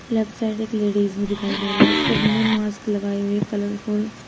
left side एक ladies भी दिखाई दे रही है सब ने मास्क लगाए हुए कलरफुल --